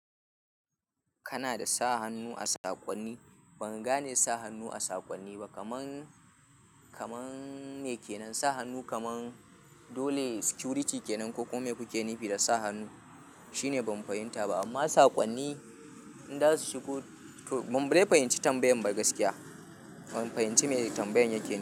Kana da sa hannu a saƙonni? Ban gane sa hannu a saƙonni ba, kamar, kamar me kenan sa hannu kamar dole security kenan ko kuma me kuke nufi da sa hannu shine ban fahimta ba. Amma saƙonni in za su shigo to ban dai fahimci tambayan ba gaskiya. Ban fahimci me tambayan yake nufi.